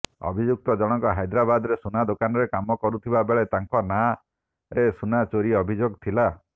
ଅଭିଯୁକ୍ତ ଜଣକ ହାଇଦ୍ରାବାଦରେ ସୁନା ଦୋକାନରେ କାମ କରୁଥିବା ବେଳେ ତାଙ୍କ ନାଁରେ ସୁନା ଚୋରି ଅଭିଯୋଗ ଥିଲା